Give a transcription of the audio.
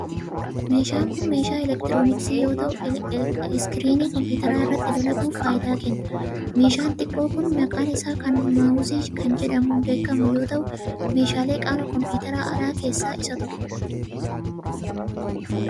Meeshaan kun meeshaa elektirooniksii yoo ta'u, iskiriinii kompiitaraa irratti dalaguuf faayidaa kenna. Meeshaan xiqqoo kun maqaan isaa kun maawuzii kan jedhamuun beekamu yoo ta'u, meeshaalee qaama koompiitaraa alaa keessaa isa tokkoo dha.